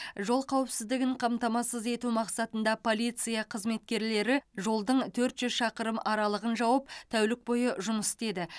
жол қауіпсіздігін қамтамасыз ету мақсатында полиция қызметкерлері жолдың төрт жүз шақырым аралығын жауып тәулік бойы жұмыс істеді